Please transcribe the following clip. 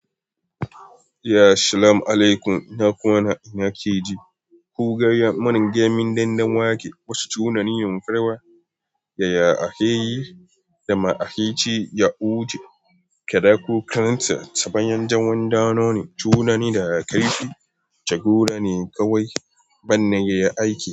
Ya salam alekum. Ina kwana ina keji. Ku ga ya mana gemin dandanwake. Wasu tunani yunfarwa. Yaya ake yi da ma ake ci ya wuce. Kada kukansa ta bayan jawon dano ne. Tunani da ka yi shi, jagora ne kawai. Ban na yi aiki.